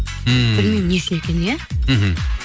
ммм білмеймін не үшін екенін иә мхм